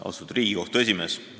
Austatud Riigikohtu esimees!